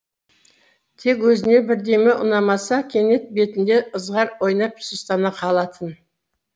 тек өзіне бірдеме ұнамаса кенет бетінде ызғар ойнап сұстана қалатын